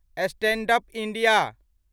stand up India